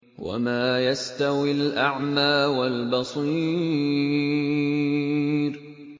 وَمَا يَسْتَوِي الْأَعْمَىٰ وَالْبَصِيرُ